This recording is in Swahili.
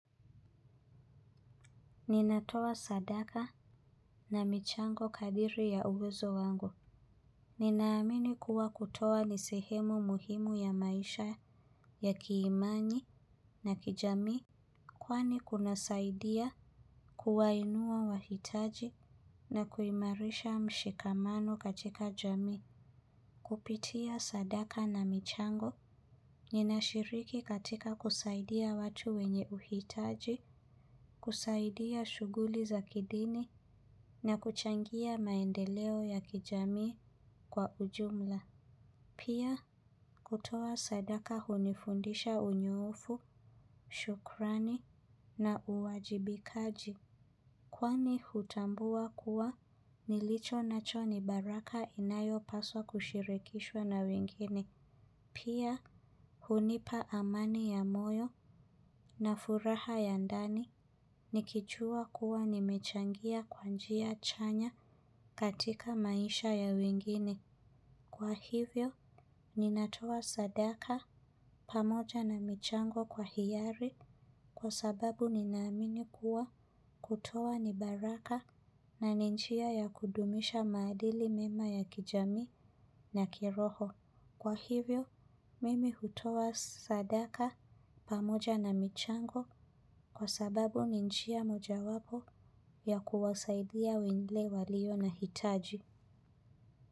Ninatoa sadaka na michango kadiri ya uwezo wangu. Ninaamini kuwa kutoa ni sehemu muhimu ya maisha ya kiimani na kijamii. Kwani kunasaidia kuwainua wahitaji na kuimarisha mshikamano katika jamii. Kupitia sadaka na michango, ninashiriki katika kusaidia watu wenye uhitaji, kusaidia shuguli za kidini na kuchangia maendeleo ya kijamii kwa ujumla. Pia, kutoa sadaka hunifundisha unyoofu, shukrani na uwajibikaji. Kwani hutambua kuwa nilichonacho ni baraka inayopaswa kushirikishwa na wengine. Pia hunipa amani ya moyo na furaha ya ndani nikijua kuwa nimechangia kwa njia chanya katika maisha ya wengine. Kwa hivyo, ninatoa sadaka pamoja na michango kwa hiari kwa sababu ninaamini kuwa kutoa ni baraka na ni njia ya kudumisha madili mema ya kijamii na kiroho. Kwa hivyo, mimi hutoa sadaka pamoja na michango kwa sababu ni njia moja wapo ya kuwasaidia wengine walio na hitaji.